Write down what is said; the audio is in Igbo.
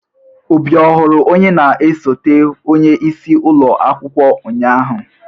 Obi ọhụrụ onye na esote onye isi ụlọ akwụkwọ unyanya?